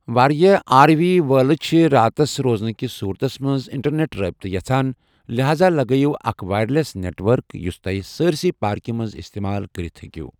وارِیاہ R V وٲلہِ چھِ راتس روزنہٕ ِكس صورتس منز اِنٹرنیٹ رٲبطہٕ یژھان ،لحاذا لگٲوِو اكھ وایر لی٘س نیٹ ورك یٗس تو٘ہہہِ سٲرِسیہ پاركہِ منز استعمال كرِتھ ہیكِو٘ ۔